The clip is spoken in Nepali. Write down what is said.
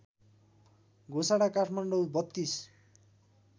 घोषणा काठमाडौँ ३२